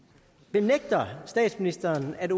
benægter statsministeren at